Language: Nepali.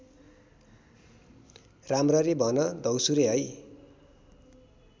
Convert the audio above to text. राम्ररी भन द्यौसुरे हे